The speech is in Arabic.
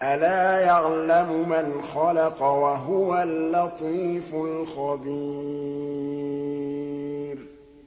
أَلَا يَعْلَمُ مَنْ خَلَقَ وَهُوَ اللَّطِيفُ الْخَبِيرُ